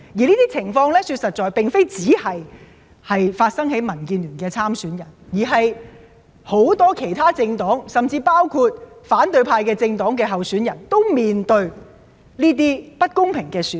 這些情況並不是只發生在民建聯的參選人身上，而是很多政黨，甚至是包括反對派政黨的候選人，均面對着這種不公平的對待。